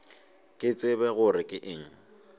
ke tsebe gore ke eng